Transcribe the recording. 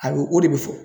A bɛ o de bɛ fɔ